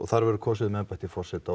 þar verður kosið um embætti forseta og